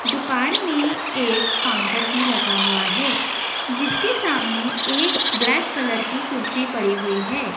दुकान में एक काउंटर भी लगा हुआ है जिसके सामने एक ब्लैक कलर की कुर्सी पड़ी हुई है।